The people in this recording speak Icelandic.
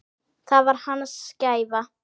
Það var hans gæfa.